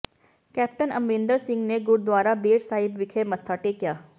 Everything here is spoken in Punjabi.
ਕੈਪਟਨ ਅਮਰਿੰਦਰ ਸਿੰਘ ਨੇ ਗੁਰਦੁਆਰਾ ਬੇਰ ਸਾਹਿਬ ਵਿਖੇ ਮੱਥਾ ਟੇਕਿਆ